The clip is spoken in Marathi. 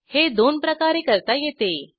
हे दोन प्रकारे करता येते 1